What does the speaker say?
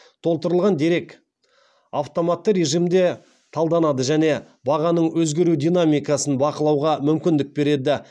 толтырылған дерек автоматты режимде талданады және бағаның өзгеру динамикасын бақылауға мүмкіндік береді